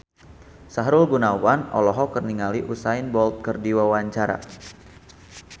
Sahrul Gunawan olohok ningali Usain Bolt keur diwawancara